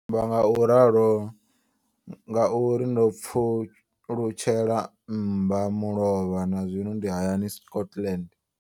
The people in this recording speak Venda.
Ndi amba ngauralo nga uri ndo pfulutshela mmba mulovha na zwino ndi hayani, Scotland.